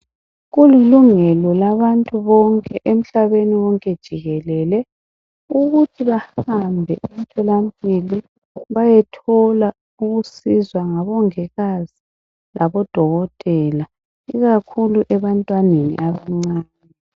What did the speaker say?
Kuyilungelo labantu bonke emhlabeni wonke jikelele ukuthi bahambe emtholampilo bayethola ukusizwa ngabomongikazi labodokotela, ikakhulu ebantwaneni abancane.